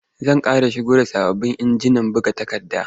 Za ƙera shigo da sababbin injinan buga takarda.